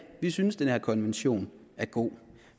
vi synes den her konvention er god